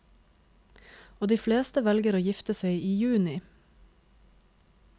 Og de fleste velger å gifte seg i juni.